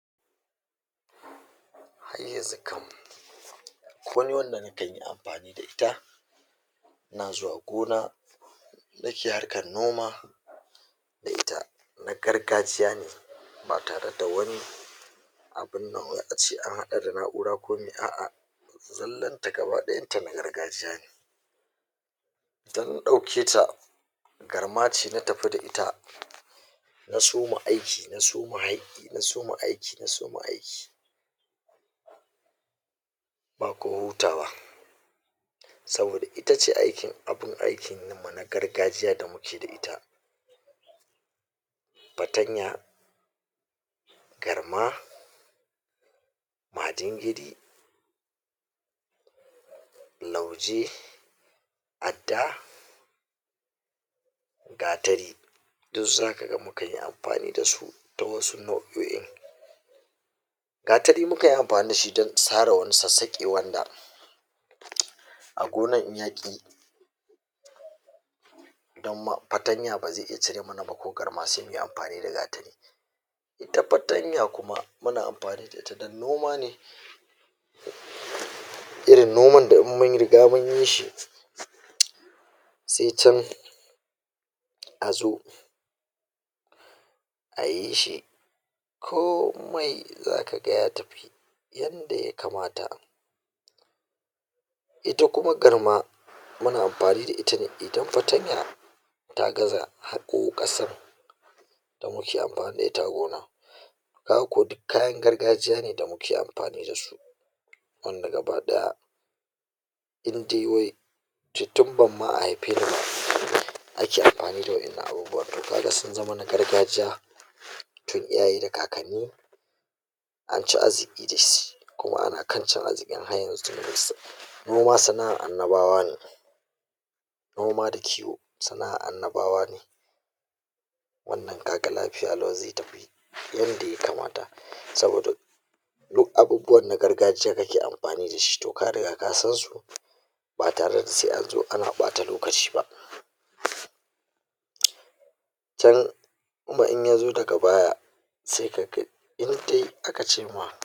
ai yanzu kam komi wanda mu kan yi amfani da ita na zuwa gona harkar noma da ita na gargajiya ne ba tare da wani abun nan wai ace an haɗa da na'ura ko mi a'a zallan ta gaba ɗayan ta na gargajiya ne ɗauketa garma ce na tafi da ita na soma aiki na soma na soma aiki na soma aiki ba ko hutawa saboda itace aikin abun aikin mu na gargajiya da muke da ita patanya garma majingidi lauje adda gatari duk zaka ga mu kan yi amfani da su ta wasu nau'oin gatari mu kan yi amfani da shi don sare wani sassaƙi wanda a gonar in ya ƙi don patanya ba ze iya cire mana ba ko garma se muyi amfani da gatari ita patanya kuma muna amfani da ita don noma ne irin noman da in mun riga mun yi shi se can a zo a yi shi ko mai zaka ga ya tafi yanda ya kamata ita kuma garma muna amfani da ita ne idan patanya ta gaza haƙo ƙasan da muke amfani da ita a gona ka ga ko duk kayan gargajiya ne da muke amfani ne da su wanda gaba ɗaya in dai wai tun ban ma a haife ni ba ake amfani da wa'ennan abubuwan, ka ga sun zama na gargajiya tun iyaye da kakanni an ci azziki da su kuma ana kan cin azzikin har yanzu noma sana'an annabawa ne noma da kiwo sana'an annabawa ne wannan ka ga lafiya lau ze tafi yanda ya kamata saboda duk abubuwan na gargajiya kake amfani da shi to ka riga ka san su ba tare da se an zo ana ɓata lokaci ba can in ya zo daga baya se ka kai in dai aka ce ma